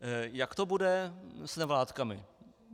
Jak to bude s nevládkami?